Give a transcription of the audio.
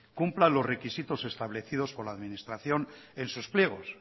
cumpla los requisitos establecidos con la administración en sus pliegos